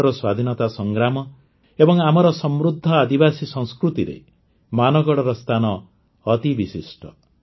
ଭାରତର ସ୍ୱାଧୀନତା ସଂଗ୍ରାମ ଏବଂ ଆମର ସମୃଦ୍ଧ ଆଦିବାସୀ ସଂସ୍କୃତିରେ ମାନଗଡ଼ର ସ୍ଥାନ ଅତି ବିଶିଷ୍ଟ